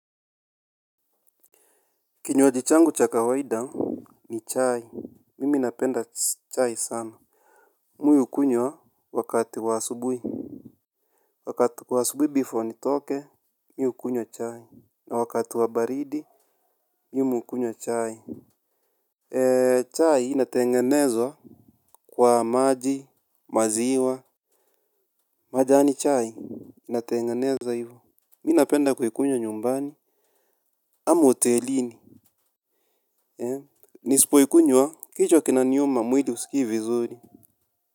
Kinyoaji changu cha kawaida ni chai. Mimi napenda chai sana. Mi uikunywa wakati wa asubui. Wakati wa asubui before nitoke, mi ukunywa chai. Na wakati wa baridi, mimi ukunyo chai. Chai inatengenezwa kwa maji, maziwa, majani chai, inatengenezwa hivo. Mi napenda kuikunyo nyumbani, ama otelini. Nisipo ikunyo kichwa kinaniuma muili usiki vizuri.